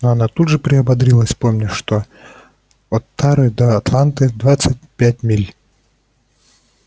но она тут же приободрилась вспомнив что от тары до атланты двадцать пять миль